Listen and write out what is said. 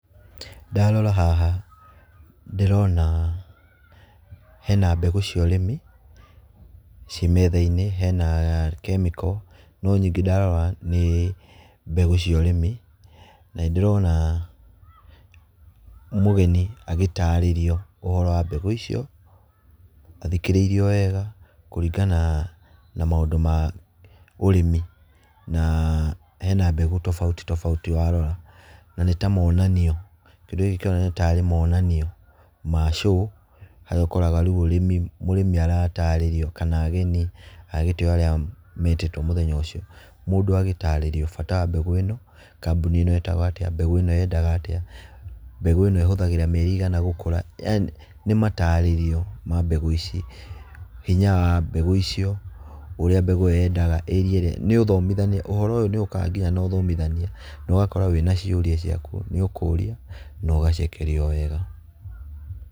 .Ndarora haha ndĩrona hena mbegũ cia ũrĩmi ciĩ metha-inĩ hena chemical no nyingĩ ndarora nĩ, mbegũ cia ũrĩmi na nĩ ndĩrona mũgeni agĩtarĩrio ũhoro wa mbegũ icio athikĩrĩiriwo wega kũringa na maũndũ ma ũrĩmi na, hena mbegũ tofauti, tofauti warora. Na nĩ ta monanio, kindũ gĩkĩ kĩroneka ta arĩ monanio ma show, haria ũkoraga rĩu ũrĩmi, mũrĩmi aratarĩrio, kana ageni a gĩtĩo arĩa metĩtũo mũthenya ũcio. Mũndũ agĩtarĩrio bata wa mbegũ ĩno kambuni ĩno ĩtagwo atĩa mbegũ ĩno yendaga atĩa mbegũ ĩno ĩhuthagira mĩeri igana gũkũra yaani nĩ matarĩrio ma mbegũ ici, hinya wa mbegũ icio, ũrĩa mbegũ ĩyo yendaga area ĩrĩa, nĩ ũthomithania, ũhoro ũyũ nĩ ũkaga nginya na ũthomithania na ũgakora nginya wĩna ciũria cĩaku nĩ ũkũria na ũgacokerio wega.